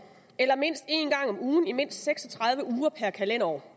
eller mindst en gang om ugen i mindst seks og tredive uger per kalenderår